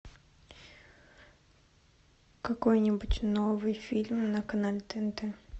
какой нибудь новый фильм на канале тнт